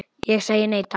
Ég segi nei, takk.